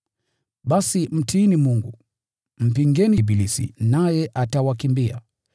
Basi mtiini Mungu. Mpingeni ibilisi, naye atawakimbia.